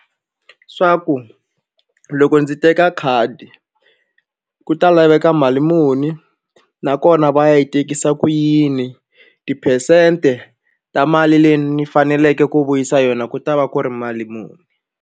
Swa ku loko ndzi teka khadi ku ta laveka mali muni nakona va yi tekisa ku yini tiphesente ta mali leyi ni faneleke ku vuyisa yona ku ta va ku ri mali muni.